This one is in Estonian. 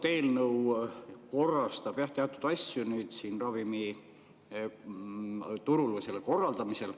See eelnõu korrastab jah teatud asju ravimiturul või selle korraldamisel.